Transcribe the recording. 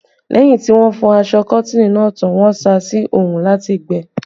Lẹ́yìn tí wọ́n fọ aṣọ Kọ́tìnì náà tán, wọ́n sá a sí orun láti gbẹ